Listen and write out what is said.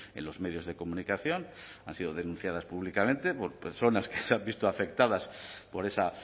en los medios de comunicación han sido denunciadas públicamente por personas que se han visto afectadas por esa